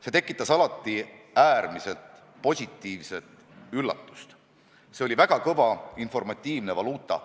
See tekitas alati äärmiselt positiivse üllatuse, see oli väga kõva informatiivne valuuta.